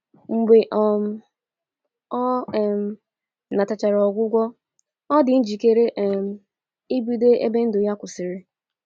Mgbe um ọ um natachara ogwụgwọ, o dị njikere um ibido ebe ndu ya kwụsirị